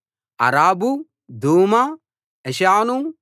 ఆరాబు దూమా ఎషాను